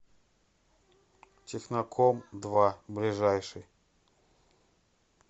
техноком два ближайший